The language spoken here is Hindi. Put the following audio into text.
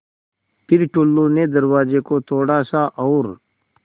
फ़िर टुल्लु ने दरवाज़े को थोड़ा सा और